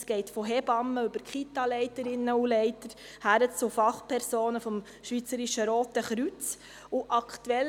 Das geht von Hebammen über Kitaleiterinnen und -leiter bis zu Fachpersonen des Schweizerischen Roten Kreuzes (SRK).